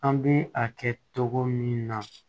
An bɛ a kɛ togo min na